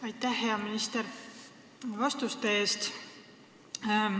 Aitäh, hea minister, vastuste eest!